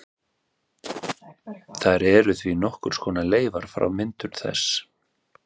Þær eru því nokkurs konar leifar frá myndun þess.